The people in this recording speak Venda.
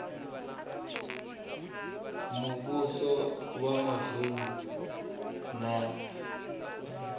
muvhuso wa mavunu na vhomasipala